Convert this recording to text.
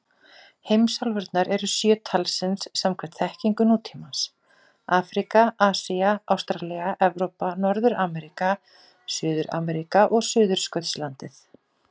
Heimsálfurnar eru sjö talsins samkvæmt þekkingu nútímans: Afríka, Asía, Ástralía, Evrópa, Norður-Ameríka, Suður-Ameríka og Suðurskautslandið.